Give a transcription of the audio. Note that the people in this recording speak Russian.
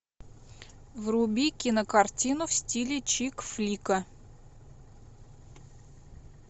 вруби кинокартину в стиле чикфлика